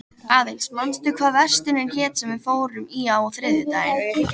Aðils, manstu hvað verslunin hét sem við fórum í á þriðjudaginn?